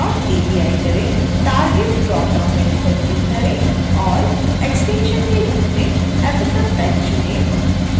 target dropdown menu पर click करें और एक्सटेंशन के रूप में ffmpeg चुनें